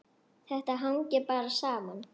Þetta hangir bara saman.